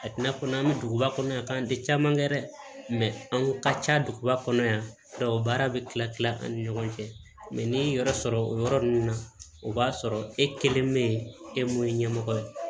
A tɛna fɔ n'an bɛ duguba kɔnɔ yan k'an tɛ caman kɛ dɛ an ko ka ca duguba kɔnɔ yan o baara bɛ kila kila ani ɲɔgɔn cɛ ni ye yɔrɔ sɔrɔ o yɔrɔ nunnu na o b'a sɔrɔ e kelen bɛ yen e mun ye ɲɛmɔgɔ ye